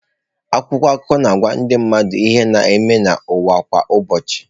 Akwụkwọ akụkọ na-agwa ndị mmadụ ihe na-eme n’ụwa kwa ụbọchị.